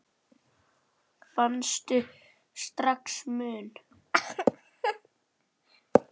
Fannstu strax mun?